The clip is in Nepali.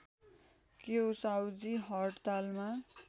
के हो साहुजी हड्तालमा